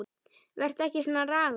Vertu ekki svona ragur.